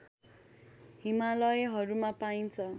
हिमालयहरूमा पाइन्छ